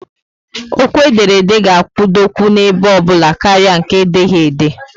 Okwu ederede ga akwudokwu n'ebe obula karịa nke edeghi ede